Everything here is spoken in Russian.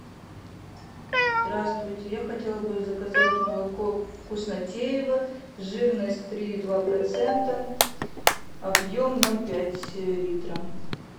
здравствуйте я хотела бы заказать молоко вкуснотеево жирность три и два процента объем ноль пять литра